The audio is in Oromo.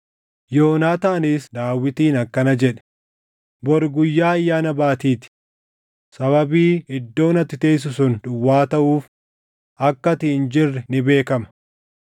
Yoonaataanis Daawitiin akkana jedhe: “Bori Guyyaa Ayyaana Baatii ti. Sababii iddoon ati teessu sun duwwaa taʼuuf akka ati hin jirre ni beekama.